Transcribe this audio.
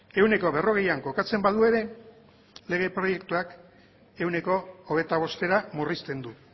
ehuneko berrogeian kokatzen badu ere lege proiektuak ehuneko hogeita bostera murrizten du